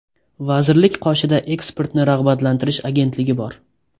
Vazirlik qoshida eksportni rag‘batlantirish agentligi bor.